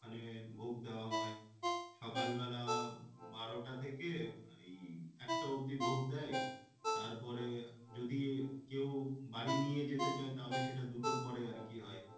মানে ভোগ দেওয়া হয়। সকালবেলা বারোটা থেকে এই একটা অব্দি ভোগ দেয়। তারপরে যদি কেউ বাড়ি নিয়ে যেতে চায় তাহলে সেটা দুটোর পরে আরকি হয়।